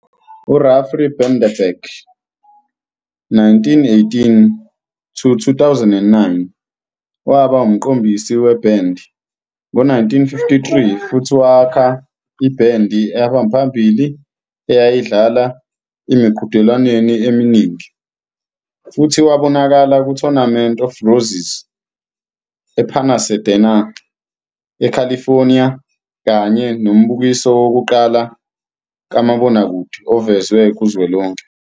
U-Ralph Bredenberg, 1918-2009, waba umqondisi webhendi ngo-1953 futhi wakha ibhendi ehamba phambili eyayidlala emiqhudelwaneni eminingi, futhi wabonakala ku-Tournament of Roses ePasadena, eCalifornia kanye nombukiso wokuqala kamabonakude ovezwe kuzwelonke.